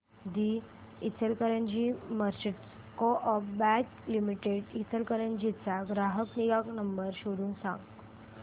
दि Ichalkaranji merchants co-op bank limited Ichalkaranji चा ग्राहक निगा नंबर शोधून सांग